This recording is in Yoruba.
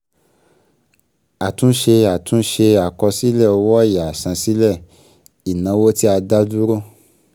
Àtúnṣe Àtúnṣe àkọsílẹ̀ owó ọ̀yà àsansílẹ̀ ìnáwó tí a dá dúró.